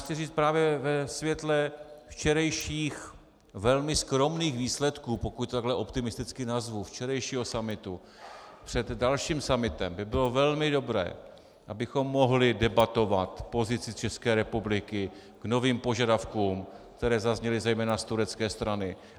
Chci říct právě ve světle včerejších velmi skromných výsledků, pokud takhle optimisticky nazvu, včerejšího summitu, před dalším summitem by bylo velmi dobré, abychom mohli debatovat pozici České republiky k novým požadavkům, které zazněly zejména z turecké strany.